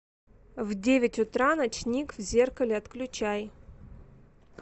в девять утра ночник в зеркале отключай